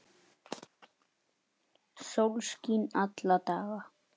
Uggi Jónsson þýddi bókina.